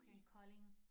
I Kolding